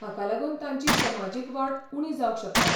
हाका लागून तांची समाजीक वाड उणी जावंक शकता.